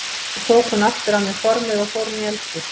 Svo tók hún aftur af mér formið og fór inn í eldhús.